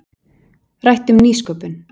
Rætt um nýsköpun